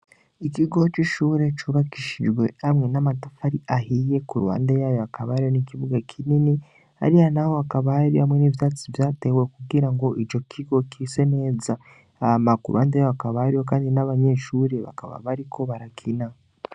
Ikigo c'ishure cubakishijwe hamwe n'amatafu ari ahiye ku ruwande yayo akabari n'ikibuga kinini ari ha, naho akabario hamwe n'ivyatsi vyatewe kugira ngo ico kigo kise neza ahmaku urubande y' wakabariyo, kandi n'abanyeshure bakaba bariko barakina.